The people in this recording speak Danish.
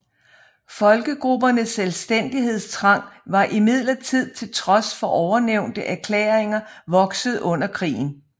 Folkegruppernes selvstændighedstrang var imidlertid til trods for ovennævnte erklæringer vokset under krigen